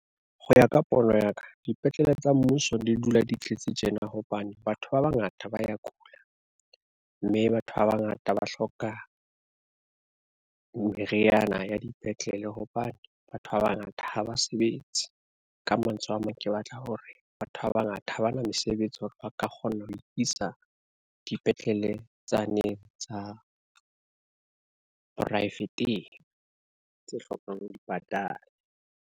Ho ya ka pono ya ka, dipetlele tsa mmuso di dula di tletse tjena hobane batho ba bangata ba ya kula, mme batho ba bangata ba hloka, meriana ya dipetlele hobane batho ba bangata ha ba sebetse. Ka mantswe a mang, ke batla hore batho ba bangata ha bana mesebetsi hore ba ka kgona ho iisa dipetlele tsa ne tsa, private-ng tse hlokang dipatala.